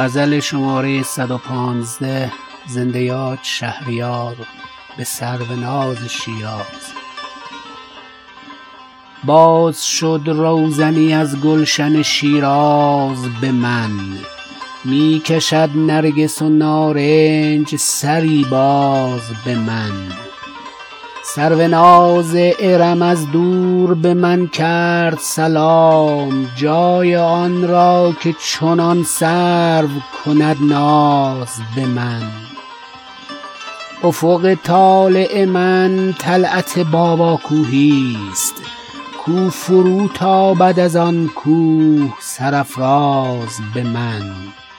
باز شد روزنی از گلشن شیراز به من می کشد نرگس و نارنج سری باز به من سروناز ارم از دور به من کرد سلام جای آن را که چنان سرو کند ناز به من آدم انگاشت به لطف ملکوتم شیراز که چنین سرو و سمن داشت سرانداز به من افق طالع من طلعت باباکوهی است کو فروتابد از آن کوه سرافراز به من گویی آتشکده پارس شکفت از سر شوق یاد شد از معبد زرتشت دری باز به من